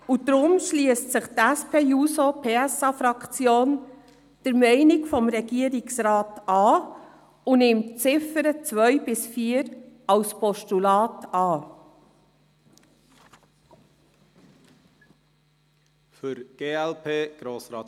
Deshalb schliesst sich die SP-JUSO-PSAFraktion der Meinung des Regierungsrates an und nimmt die Ziffern 2 bis 4 als Postulat an.